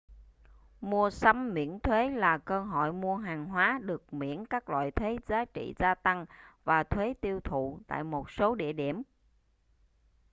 mua sắm miễn thuế là cơ hội mua hàng hóa được miễn các loại thuế giá trị gia tăng và thuế tiêu thụ tại một số địa điểm